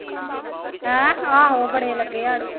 ਹੈਂ ਆਹੋ ਬੜੇ ਲੱਗੇ ਆੜੂ